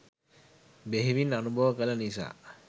බෙහෙවින් අනුභව කළ නිසා